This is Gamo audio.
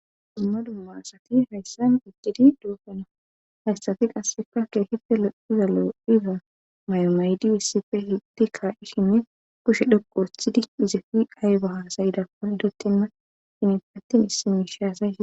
Dummadumma asati hayssan iggidi doofena hayssati qasseka keehife lo7iza lo7iza mayomaydiissife hiddi kaa7ishinne kushe dhoqo worthidi izefi qayba hasayidakon idotemma hinitpattin issimiishaasa e